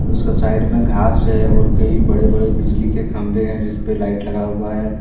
उसके साइड में घास है और कई बड़े बड़े बिजली के खंभे हैं जिस पे लाइट लगा हुआ है।